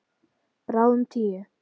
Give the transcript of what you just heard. Bráðum tíu.